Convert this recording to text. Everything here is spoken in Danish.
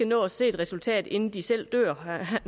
nå at se et resultat inden de selv dør